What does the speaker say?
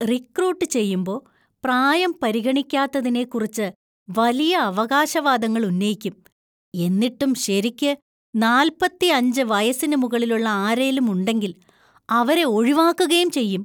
Recruit ചെയ്യുമ്പോ പ്രായം പരിഗണിക്കാത്തതിനെക്കുറിച്ച് വലിയ അവകാശവാദങ്ങൾ ഉന്നയിക്കും, എന്നിട്ടും ശെരിക്ക് , നാൽപത്തി അഞ്ച് വയസ്സിന് മുകളിലുള്ള ആരെലും ഉണ്ടെങ്കിൽ അവരെ ഒഴിവാക്കുകേം ചെയ്യും.